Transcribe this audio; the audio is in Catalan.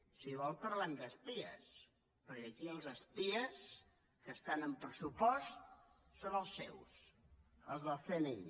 si vol parlem d’espies perquè aquí els espies que estan en pressupost són els seus els del cni